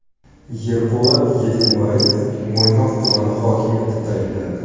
Yerpolat Yedenbayev Mo‘ynoq tumani hokimi etib tayinlandi.